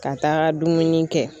Ka taga dumuni kɛ